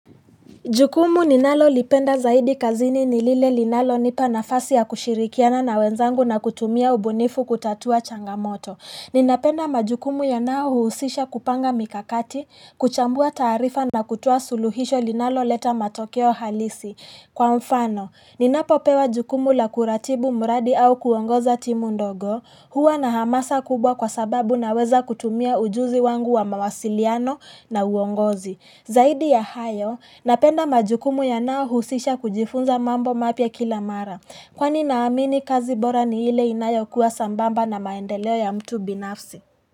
Jukumu ninalolipenda zaidi kazini nilile linalonipa nafasi ya kushirikiana na wenzangu na kutumia ubunifu kutatua changamoto. Ninapenda majukumu yanayohusisha kupanga mikakati, kuchambua taarifa na kutoa suluhisho linaloleta matokeo halisi. Kwa mfano, ninapopewa jukumu la kuratibu mradi au kuongoza timu ndogo, huwa na hamasa kubwa kwa sababu naweza kutumia ujuzi wangu wa mawasiliano na uongozi. Zaidi ya hayo, napenda majukumu yanayohusisha kujifunza mambo mapya kila mara, kwani naamini kazi bora ni ile inayokuwa sambamba na maendeleo ya mtu binafsi.